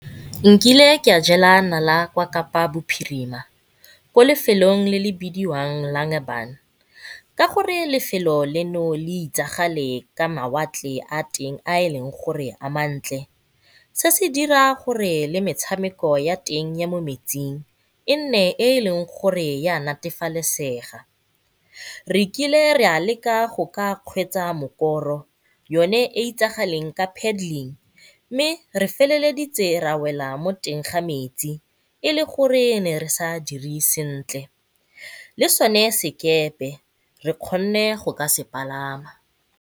Nkile ka jela nala kwa Kapa Bophirima mo lefelong le le bidiwang ka gore lefelo lena le itsege ka mawatle a teng a e leng gore a mantle, se se dirang gore le metshameko ya teng ya mo metsing e nne e e leng gore ya natafalesega. Re kile re a leka go ka kgweetsa mokoro yone e e itsagaleng ka mme re feleleditse ra wela mo teng ga metsi e le gore re ne re sa dire sentle le sone sekepe re kgonne go ka se palama.